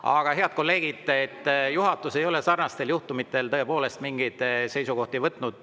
Aga, head kolleegid, juhatus ei ole sarnaste juhtumite kohta tõepoolest mingeid seisukohti võtnud.